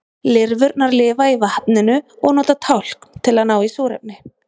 Lirfurnar lifa í vatninu og nota tálkn til að ná í súrefni.